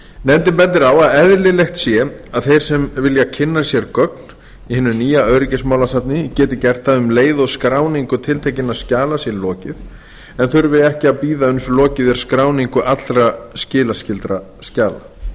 nefndin bendir á að eðlilegt sé að þeir sem vilja kynna sér gögn í hinu nýja öryggismálasafni geti gert það um leið og skráningu tiltekinna skjala sé lokið en þurfi ekki að bíða uns lokið er skráningu allra skattskyldra skjala